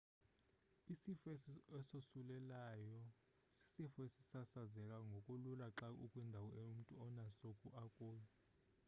isifo esosulelayo sisifo esisasazeka ngokulula xa ukwindawo umntu onaso akuyo